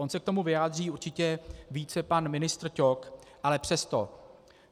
On se k tomu vyjádří určitě více pan ministr Ťok, ale přesto.